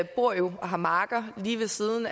bor jo og har marker lige ved siden